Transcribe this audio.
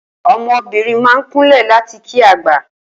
O̩mo̩bìnrin máa ń kúnlè̩ láti kí àgbà